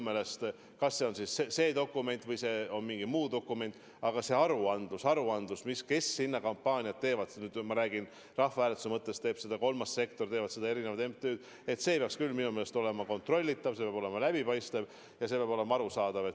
Olgu see see dokument või mingi muu dokument, aga nende aruandlus, kes rahvahääletusega seotud kampaaniat teevad – kui seda teeb kolmas sektor, kui seda teevad erinevad MTÜ-d –, peab küll minu meelest olema kontrollitav, see peab olema läbipaistev ja see peab olema arusaadav.